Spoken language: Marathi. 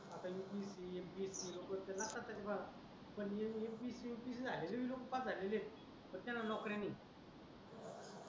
आता upscmpsc लोक लाखात आहे रे बा पण upscmpsc झालेले लोक पास झालेले आहे पण त्यांना नोकरी नाही